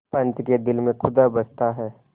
पंच के दिल में खुदा बसता है